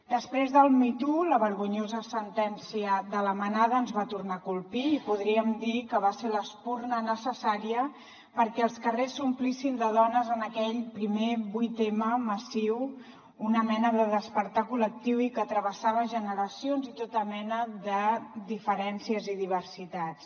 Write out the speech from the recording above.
després del me too la vergonyosa sentència de la manada ens va tornar a colpir i podríem dir que va ser l’espurna necessària perquè els carrers s’omplissin de dones en aquell primer vuit m massiu una mena de despertar col·lectiu i que travessava generacions i tota mena de diferències i diversitats